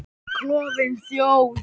Klofin þjóð.